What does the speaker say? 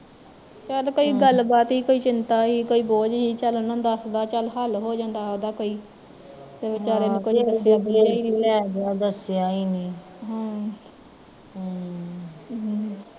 ਚੱਲ ਕੋਈ ਗੱਲ ਬਾਤ ਸੀ, ਚਿੰਤਾ ਸੀ, ਕੋਈ ਬੋਝ ਸੀ, ਚੱਲ ਉਹਨਾਂ ਨੂੰ ਦੱਸਦਾ ਚੱਲ ਹੱਲ ਹੋ ਜਾਂਦਾ ਓਹਦਾ ਕੋਈ ਤੇ ਵਿਚਾਰੇ ਨੇ ਕੁਜ ਦੱਸਿਆ ਦੁਸਇਆ ਨੀ ਹਮ ਹਮ ਹਮ